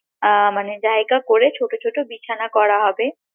আহ মানে জায়গা করে ছোট ছোট বিছানা করা হবে